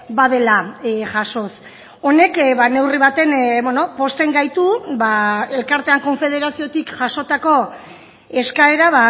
badela jasoz honek neurri baten pozten gaitu elkartean konfederaziotik jasotako eskaera